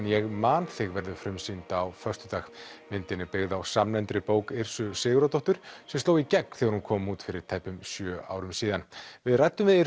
ég man þig verður frumsýnd á föstudag myndin er byggð á samnefndri bók Sigurðardóttur sem sló í gegn þegar hún kom út fyrir tæpum sjö árum við ræddum við